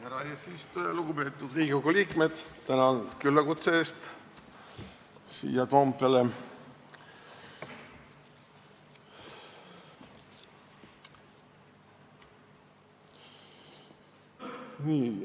Härra eesistuja, lugupeetud Riigikogu liikmed tänan küllakutse eest siia Toompeale!